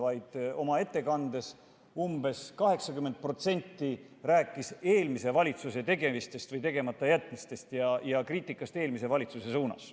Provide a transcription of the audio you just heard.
Peaministri ettekandest umbes 80% rääkis eelmise valitsuse tegemistest või tegematajätmistest ja kriitikast eelmise valitsuse suunas.